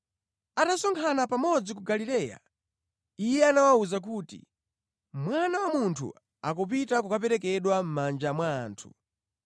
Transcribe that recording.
Atasonkhana pamodzi ku Galileya, Iye anawawuza kuti, “Mwana wa Munthu akupita kukaperekedwa mʼmanja mwa anthu.